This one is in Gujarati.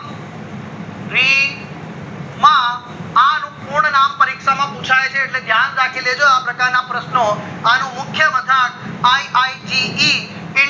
રી માં અનુ પૂર્ણ નામ પરીક્ષામાં પુછાય છે એટલે ધ્યાન માં રાખી લેજો આ પ્રકારના પ્રશ્નો અનુ મુખ્ય મથક iite